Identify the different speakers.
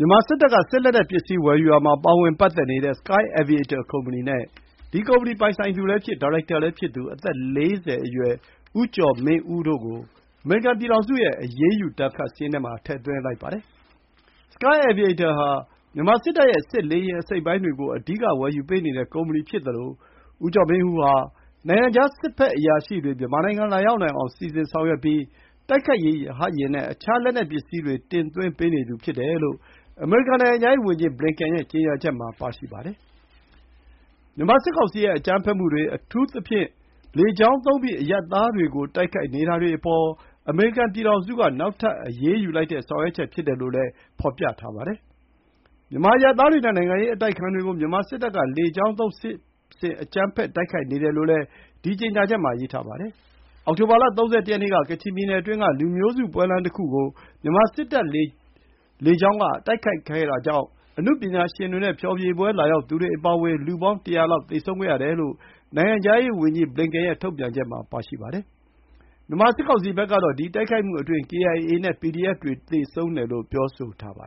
Speaker 1: ြန်မာစစ်တပ်ရဲ့ စစ်လက်နက်ပစ္စည်းဝယ်ယူမှုပိုင်းမှာ ပါဝင်ပတ်သက်နေတဲ့ Sky Aviator ကုမ္ပဏီနဲ့ ဒီကုမ္ပဏီပိုင်ဆိုင်သူလည်းဖြစ် ဒါရိုက်တာလည်းဖြစ်သူ အသက်၄၀ အရွယ် ဦးကျော်မင်းဦးတို့ကို အမေရိကန်ပြည်ထောင်စုရဲ့ အရေးယူပစ်မှတ်ထားဒဏ်ခတ်စာရင်းထဲ Sky Aviator ဟာ မြန်မာစစ်တပ်ရဲ့ စစ်လေယာဉ်အစိတ်အပိုင်းတွေကို အဓိက ဝယ်ယူပေးနေတဲ့ကုမ္ပဏီဖြစ်သလို ဦးကျော်မင်းဦးဟာ နိုင်ငံခြားစစ်ဖက်အရာရှိတွေ မြန်မာနိုင်ငံလာရောက်နိုင်အောင်စီစဉ်ဆောင်ရွက်ပြီး တိုက်ခိုက်ရေးရဟတ်ယာဉ်နဲ့ အခြားစစ်လက်နက်ပစ္စည်းတွေ တင်သွင်းပေးနေသူဖြစ်တယ်လို့ အမေရိကန်နိုင်ငံခြားဝန်ကြီး Blinken ရဲ့ ကြေညာချက်မှာပါရှိပါတယ်။ မြန်မာစစ်ကောင်စီရဲ့ အကြမ်းဖက်မှုတွေ၊ အထူးသဖြင့်တော့ လေကြောင်းသုံးပြီး အရပ်သားတွေကို တိုက်ခိုက်နေတာတွေအပေါ် အမေရိကန်ပြည်ထောင်စုက နောက်ထပ်အရေးယူလိုက်တဲ့ ဆောင်ရွက်ချက်ဖြစ်တယ်လို့လည်း ဖော်ပြပါတယ်။ မြန်မာအရပ်သားတွေနဲ့ နိုင်ငံရေးအတိုက်အခံတွေကို မြန်မာစစ်တပ်က လေကြောင်းသုံးစစ်ဆင်အကြမ်းဖက်တိုက်ခိုက်နေတယ်လို့လည်း ဒီကြေညာချက်မှာရေးပါတယ်။ အောက်တိုဘာလ ၃၁ ရက်နေ့က ကချင်ပြည်နယ်အတွင်းက လူမျိုးစုပွဲလမ်းတခုကို မြန်မာစစ်တပ်က လေကြောင်းတိုက်ခိုက်တာကြောင့် အနုပညာရှင်တွေနဲ့ ဖျော်ဖြေပွဲလာရောက်သူတွေအပါအဝင် လူပေါင်း ၁၀၀ လောက် သေဆုံးခဲ့ရတယ်လို့ နိုင်ငံခြားရေးဝန်ကြီး ဘလင်ကန်ရဲ့ ထုတ်ပြန်ချက်မှာပါရှိပါတယ်။ မြန်မာစစ်ကောင်စီဖက်ကတော့ ဒီ တိုက်ခိုက်မှုအတွင်းမှာ KIA နဲ့ PDF တွေ သေဆုံးတယ်လို့ ပြောဆိုထားတာပါ